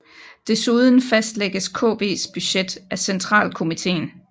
Desuden fastlægges KVs budget af centralkomiteen